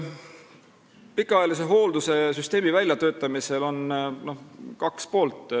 Pikaajalise hoolduse süsteemi väljatöötamisel on kaks poolt.